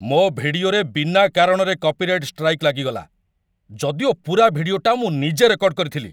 ମୋ' ଭିଡିଓରେ ବିନା କାରଣରେ କପିରାଇଟ୍ ଷ୍ଟ୍ରାଇକ୍ ଲାଗିଗଲା । ଯଦିଓ ପୁରା ଭିଡିଓଟା ମୁଁ ନିଜେ ରେକର୍ଡ଼ କରିଥିଲି ।